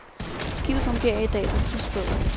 Skibet fungerer i dag som husbåd.